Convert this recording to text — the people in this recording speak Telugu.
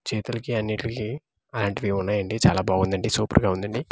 చేతులకి అన్నిట్లికీ అలాంటివి ఉన్నాయండి చాలా బాగుందండి సూపర్గా ఉందండి.